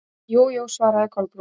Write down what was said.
Jú, jú- svaraði Kolbrún.